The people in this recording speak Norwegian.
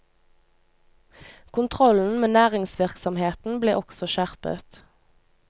Kontrollen med næringsvirksomheten ble også skjerpet.